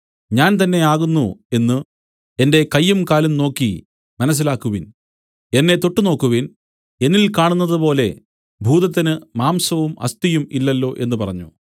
ഞാൻ തന്നെ ആകുന്നു എന്നു എന്റെ കയ്യും കാലും നോക്കി മനസ്സിലാക്കുവിൻ എന്നെ തൊട്ടുനോക്കുവിൻ എന്നിൽ കാണുന്നതുപോലെ ഭൂതത്തിന് മാംസവും അസ്ഥിയും ഇല്ലല്ലോ എന്നു പറഞ്ഞു